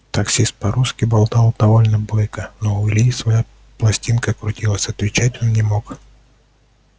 таксист по-русски болтал довольно бойко но у ильи своя пластинка крутилась отвечать он не мог